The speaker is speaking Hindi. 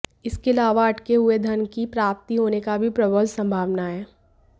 इसके अलावा अटके हुए धन की प्राप्ति होने की भी प्रबल संभावना है